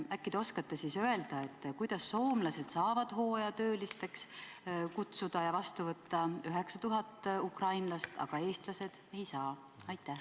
Äkki te oskate öelda, kuidas soomlased saavad hooajatöödele kutsuda ja vastu võtta 9000 ukrainlast, aga eestlased ei saa?